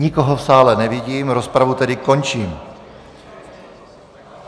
Nikoho v sále nevidím, rozpravu tedy končím.